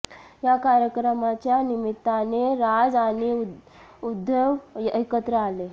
या कार्यक्रमाच्या निमित्ताने राज आणि उद्धव एकत्र आले